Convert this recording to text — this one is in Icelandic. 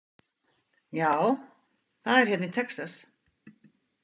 Já, það er hérna í Texas.